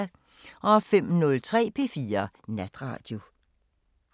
05:03: P4 Natradio